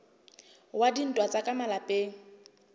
wa dintwa tsa ka malapeng